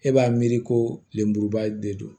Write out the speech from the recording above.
E b'a miiri ko lemuruba de don